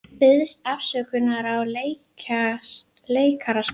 Biðst afsökunar á leikaraskap